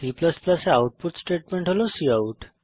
C এ output statement হল cout